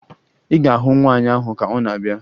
Ị ga-ahụ nwaanyị ahụ ka ọ na abịa